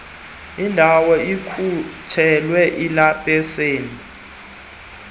ndawo ikhutshelwe ilayisenisi